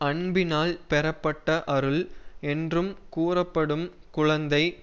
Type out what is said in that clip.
அன்பினால் பெறப்பட்ட அருள் என்று கூறப்படும் குழந்தை